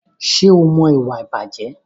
Ṣé o mọ ìwà ìbàjẹ́?